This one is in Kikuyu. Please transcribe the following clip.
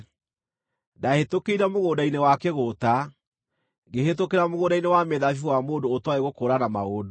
Ndaahĩtũkĩire mũgũnda-inĩ wa kĩgũũta, ngĩhĩtũkĩra mũgũnda-inĩ wa mĩthabibũ wa mũndũ ũtooĩ gũkũũrana maũndũ;